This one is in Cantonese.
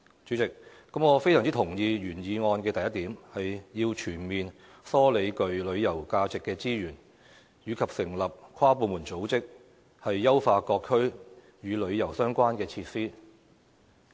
主席，我非常同意原議案的第一點，"全面梳理具旅遊價值的資源......成立跨部門組織，以優化各區與旅遊相關的設施"。